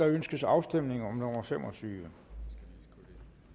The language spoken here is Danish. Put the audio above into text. ønskes afstemning om ændringsforslagene nummer fem og tyve